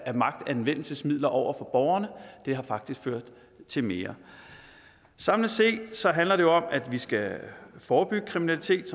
af magtanvendelsesmidler over for borgerne det har faktisk ført til mere samlet set handler det om at vi skal forebygge kriminalitet